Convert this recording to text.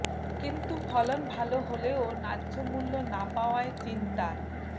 কিন্তু ফলন ভালো হলেও ন্যায্য মূল্য না পাওয়ায় চিন্তার